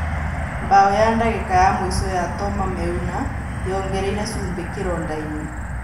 Mbao ya ndagĩka ya mũico ya Toma Meuna yongereire cumbi kĩrondainĩ.